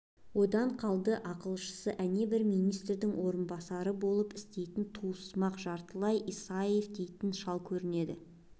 одан қалды ақылшысы әне бір министрдің орынбасары болып істейтін туыссымақ жартылай исаев дейтін шал көрінеді